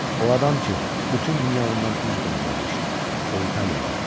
O adam ki, bütün dünya ondan üz döndərmişdi, o italyalı.